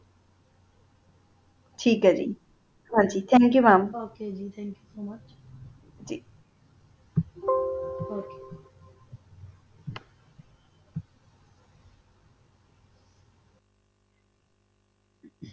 ਠੀਕ ਆ ਜੀ